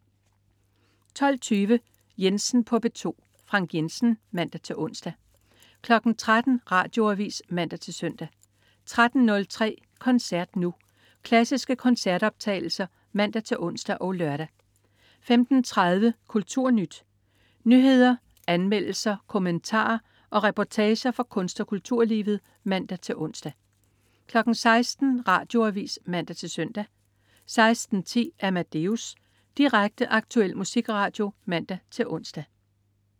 12.20 Jensen på P2. Frank Jensen (man-ons) 13.00 Radioavis (man-søn) 13.03 Koncert Nu. Klassiske koncertoptagelser (man-ons og lør) 15.30 KulturNyt. Nyheder, anmeldelser, kommentarer og reportager fra kunst- og kulturlivet (man-ons) 16.00 Radioavis (man-søn) 16.10 Amadeus. Direkte, aktuel musikradio (man-ons)